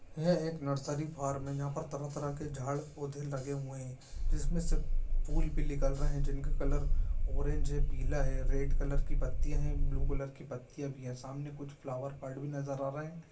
ये एक nursery farm है जहां पर तरह-तरह के झाड़ पौधे लगे हुए है जिसमें से निकल रहे हैं जिनके कलर ऑरेंज पीला है रेड कलर की पत्तियाँ है ब्लू कलर की पत्तियां भी है सामने कुछ फ्लावर पार्ट भी नजर आ रहे है।